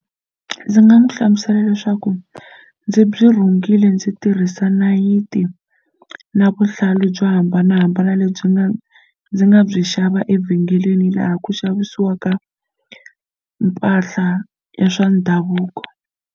Ndzi nga n'wi hlamusela leswaku ndzi byi rhungile ndzi tirhisa nayiti na vuhlalu byo hambanahambana lebyi nga ndzi nga byi xava evhengeleni laha ku xavisiwaka mpahla ya swa ndhavuko.